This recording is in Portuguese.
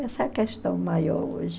Essa é a questão maior hoje.